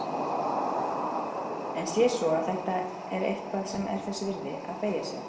En sé svo að þetta er eitthvað sem er þess virði að beygja sig eftir.